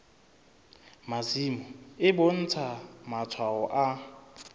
masimo e bontsha matshwao a